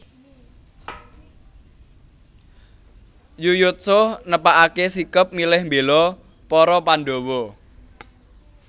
Yuyutsuh netepake sikep milih mbela para Pandhawa